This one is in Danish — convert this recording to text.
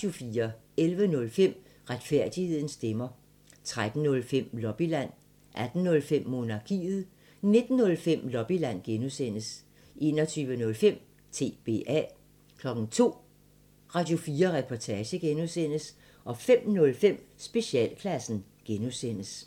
11:05: Retfærdighedens stemmer 13:05: Lobbyland 18:05: Monarkiet 19:05: Lobbyland (G) 21:05: TBA 02:00: Radio4 Reportage (G) 05:05: Specialklassen (G)